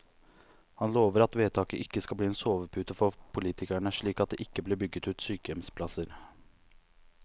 Han lover at vedtaket ikke skal bli en sovepute for politikerne, slik at det ikke blir bygget ut sykehjemsplasser.